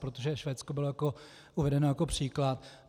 Protože Švédsko bylo uvedeno jako příklad.